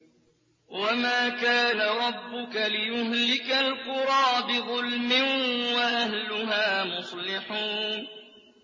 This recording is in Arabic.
وَمَا كَانَ رَبُّكَ لِيُهْلِكَ الْقُرَىٰ بِظُلْمٍ وَأَهْلُهَا مُصْلِحُونَ